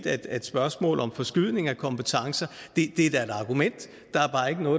at spørgsmålet om forskydning af kompetencer er et argument